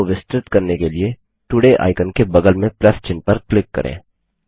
menu को विस्तृत करने के लिए तोड़े आइकन के बगल में प्लस चिन्ह पर क्लिक करें